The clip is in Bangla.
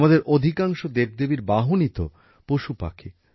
আমাদের অধিকাংশ দেবদেবীর বাহনই তো পশুপাখি